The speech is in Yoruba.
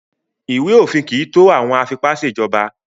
Ìwé-òfin kì í tó àwọn afipá-ṣèjọba.